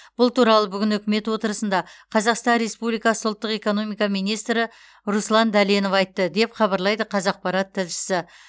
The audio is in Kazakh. бұл туралы бүгін үкімет отырысында қазақстан республикасы ұлттық экономика министрі руслан дәленов айтты деп хабарлайды қазақпарат тілшісі